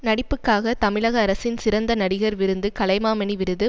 நடிப்புக்காக தமிழக அரசின் சிறந்த நடிகர் விருது கலைமாமணி விருது